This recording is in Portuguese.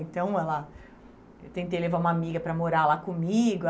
Então ela... Eu tentei levar uma amiga para morar lá comigo.